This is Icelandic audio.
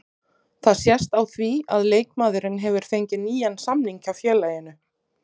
Það sést á því að leikmaðurinn hefur fengið nýjan samning hjá félaginu.